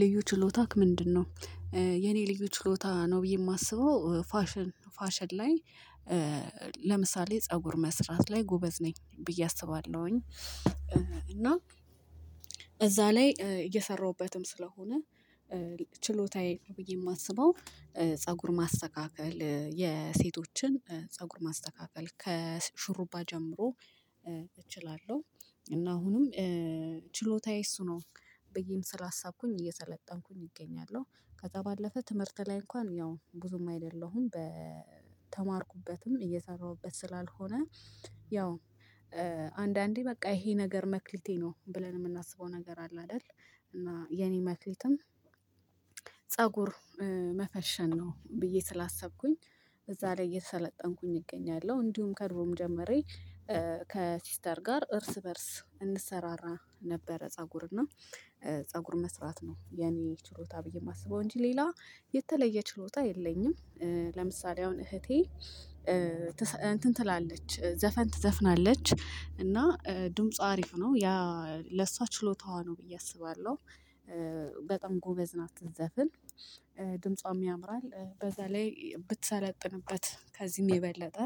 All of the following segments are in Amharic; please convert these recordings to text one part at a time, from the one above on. ልዩ ችሎታክ ምንድነው? የኔ ልዩ ችሎታ ነው ብዬ የማስበው ፋሽን ፋሽን ላይ ለምሳሌ ፀጉር መስራት ላይ ጎበዝ ነኝ ብዬ አስባለሁኝ። እና እዛ ላይ እየሰራሁበትም ስለሆነ ችሎታዬ ነው ብዬ የማስበው። ፀጉር ማስተካከል የሴቶችን ፀጉር ማስተካከል ከሽሩባ ጀምሮ እችላለሁ። እና አሁንም ችሎታዬ እሱ ነው ብዬም ስላሳብኩኝ እየሰለጠንኩኝ እገኛለሁ። ከዛ ባለፈ ትምህርት ላይ እንኳን ያው ብዙም አይደለሁም በተማርኩበትም እየሰራሁበት ስላልሆነ። ያው አንዳንዴ በቃ ይሄ ነገር መክሊቴ ነው ብለን የምናስበው ነገር አለ አይደል? እና የኔ መክሊትም ፀጉር መፈሸን ነው ብዬ ስላሰብኩኝ። እዛ ላይ እየተሰለጠንኩኝ እገኛለሁ። እንዲሁም ከድሮም ጀምሬ ከሲስተር ጋር እርስ በእርስ እንሰራራ ነበረ። ፀጉር እና ፀጉር መስራት ነው የኔ ችሎታ ብዬ የማስበው እንጂ ሌላ የተለየ ችሎታ የለኝም። ለምሳሌ አሁን እህቴ እንትን ትላለች ዘፈን ትዘፍናለች እና ድምጿ አሪፍ ነው ያ ለሷ ችሎታዋ ነው ብዬ አስባለሁ። በጣም ጎበዝ ናት ስትዘፍን። ድምጿም ያምራል በዛ ላይ ብትሰለጥንበት ከዚህም የበለጠ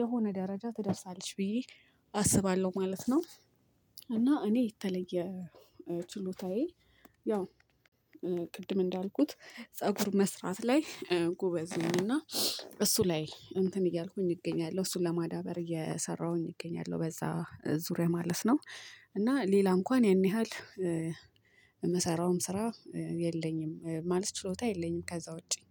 የሆነ ደረጃ ትደርሳለች ብዬ አስባለሁ ማለት ነው። እና እኔ የተለየ ችሎታዬ ያው ቅድም እንዳልኩት ፀጉር መስራት ላይ ጎበዝ ነኝ። እና እሱ ላይ እንትን እያልኩኝ እገኛለሁ እሱን ለማዳበር እየሰራሁኝ እገኛለሁ በዛ ዙሪያ ማለት ነው። እና ሌላ እንኳን ያን ያህል የምሰራውም ስራ የለኝም ማለት ችሎታ የለኝም ከዛ ውጪ